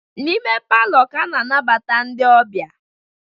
N'ime palọ ka a na-anabata ndị ọbịa